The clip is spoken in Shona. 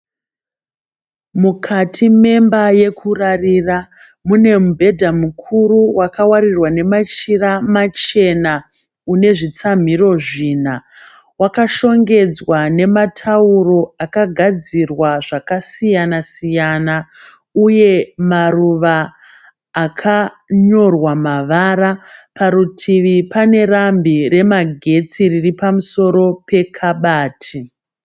Mukati memba yekurarira mune mubhedha mukuru wakawarirwa nemachira machena. Une zvekutsamhira zvina. Wakashongedzwa nematauro akagadzirwa zvakasiyana siyana uye maruva akanyorwa mavara. Parutivi pane rambi remagetsi riri pamusoro pekabati.